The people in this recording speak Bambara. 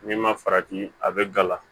N'i ma farati a bɛ gala